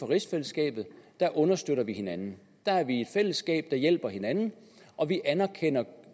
rigsfællesskabet understøtter hinanden der er vi et fællesskab der hjælper hinanden og vi anerkender